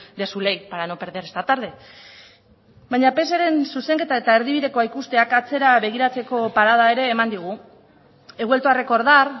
de su ley para no perder esta tarde baina pseren zuzenketa eta erdibidekoa ikusteak atzera begiratzeko parada ere eman digu he vuelto a recordar